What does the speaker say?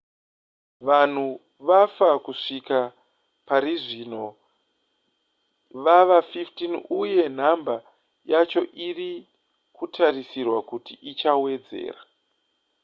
vanhu vafa kusvika parizvino vava 15 uye nhamba yacho iri kutarisirwa kuti ichawedzera